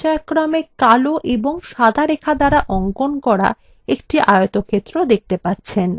এখন আপনি পর্যায়ক্রমে কালো এবং সাদা রেখা দ্বারা অঙ্কন করা একটি আয়তক্ষেত্র দেখতে পাচ্ছেন